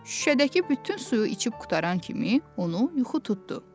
Şüşədəki bütün suyu içib qurtaran kimi onu yuxu tutdu.